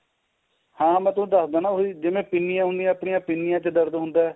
ਹਾਂ ਮੈਂ ਤੁਹਾਨੂੰ ਦੱਸ ਦਿਨਾ ਉਹੀ ਜਿਵੇਂ ਪਿੰਨੀਆ ਉਨੀਆ ਆਪਣੀਆ ਪਿੰਨੀਆ ਚ ਦਰਦ ਹੁੰਦਾ